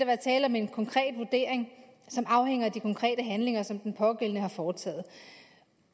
være tale om en konkret vurdering som afhænger af de konkrete handlinger som den pågældende har foretaget